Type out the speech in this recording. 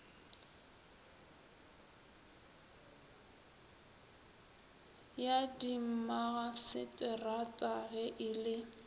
ya dimmagaseterata ge e le